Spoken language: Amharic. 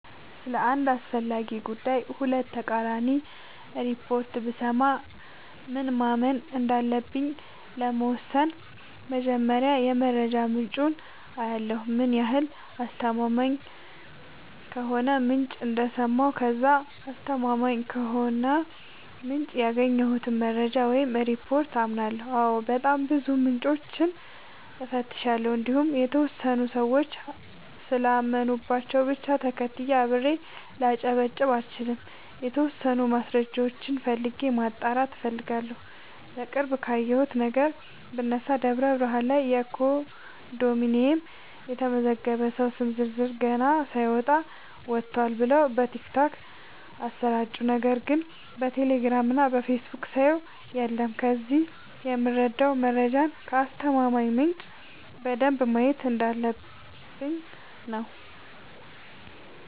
ስለ አንድ አስፈላጊ ጉዳይ ሁለት ተቃራኒ ሪፖርት ብሰማ ምን ማመን እንዳለብኝ ለመወሠን መጀመሪያ የመረጃ ምንጬን አያለሁ ምን ያህል አስተማማኝ ከሆነ ምንጭ እንደሰማሁ ከዛ አስተማማኝ ከሆነው ምንጭ ያገኘሁትን መረጃ ወይም ሪፓርት አምናለሁ አዎ በጣም ብዙ ምንጮችን እፈትሻለሁ እንዲሁም የተወሰኑ ሰዎች ስላመኑባቸው ብቻ ተከትዬ አብሬ ላጨበጭብ አልችልም የተወሰኑ ማስረጃዎችን ፈልጌ ማጣራት እፈልጋለሁ። በቅርብ ካየሁት ነገር ብነሳ ደብረብርሃን ላይ ኮንዶሚኒየም የተመዘገበ ሰው ስም ዝርዝር ገና ሳይወጣ ወጥቷል ብለው በቲክቶክ አሰራጩ ነገር ግን በቴሌግራም እና በፌስቡክ ሳየው የለም ከዚህ የምረዳው መረጃን ከአስተማማኝ ምንጭ በደንብ ማየት እንዳለበ፣ ብኝ ነው።